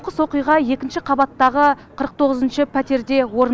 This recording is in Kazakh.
оқиға екінші қабаттағы қырық тоғызыншы пәтерде орын